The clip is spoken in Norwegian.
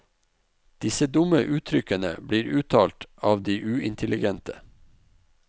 Disse dumme uttrykkene blir uttalt av de uintelligente.